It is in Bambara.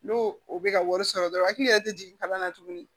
N'o o bɛ ka wari sɔrɔ dɔrɔn a hakili yɛrɛ tɛ jigin kalan na tuguni